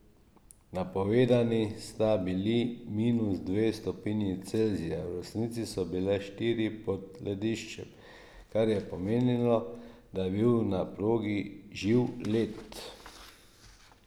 Napovedani sta bili minus dve stopinji Celzija, v resnici so bile štiri pod lediščem, kar je pomenilo, da je bil na progi živ led.